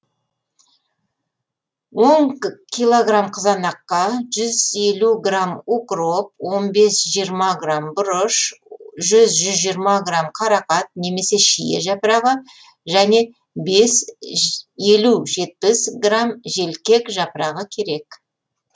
он килограмм қызанаққа жүз елу грамм укроп он бес жиырма грамм бұрыш жүз жүз жиырма грамм қарақат немесе шие жапырағы және елу жетпіс грамм желкек жапырағы қажет